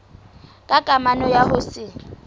ka kamano ya ho se